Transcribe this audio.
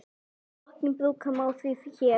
Rokkinn brúka má því hér.